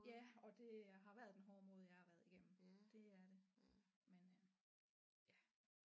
Ja og det har været den hårde måde jeg har været igennem det er det men øh ja